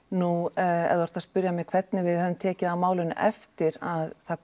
nú ef þú ert að spyrja mig hvernig við höfum tekið á málinu eftir að það